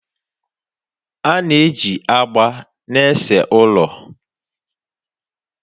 A na-eji agba na-ese ụlọ